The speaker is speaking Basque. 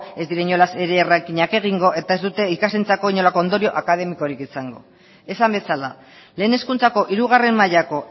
ez dira inolaz ere rankingak egingo eta ez dute ikasleentzako inolako ondorio akademikorik izango esan bezala lehen hezkuntzako hirugarrena mailako